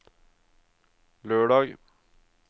lørdag